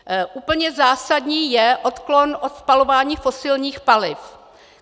Úplně zásadní je odklon od spalování fosilních paliv.